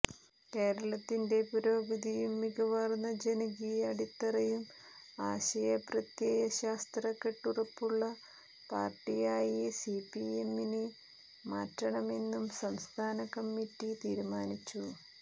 കേരളത്തിന്റെ പുരോഗതിയും മികവാര്ന്ന ജനകീയ അടിത്തറയും ആശയപ്രത്യയശാസ്ത്ര കെട്ടുറപ്പുമുള്ള പാര്ടിയായി സിപിഐഎമ്മിനെ മാറ്റണമെന്നും സംസ്ഥാനകമ്മിറ്റി തീരുമാനിച്ചു